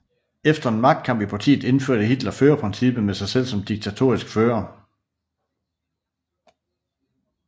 Efter en magtkamp i partiet indførte Hitler førerprincippet med sig selv som diktatorisk fører